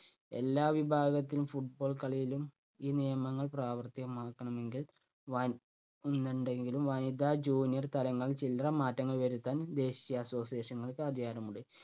എല്ലാ വിഭാഗത്തിനും Football കളിയിലും ഈ നിയമങ്ങൾ പ്രാവർത്തികമാക്കണമെങ്കിൽ വ എന്നുണ്ടെങ്കിലും വനിതാ junior താരങ്ങൾ ചില്ലറ മാറ്റങ്ങൾ വരുത്താൻ ദേശീയ association കൾക്ക് അധികാരമുണ്ട്.